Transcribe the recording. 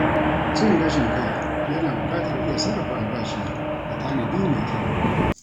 Cin gashin kai yana bukatar iya sarrafa albashi da tanadi mai kyau.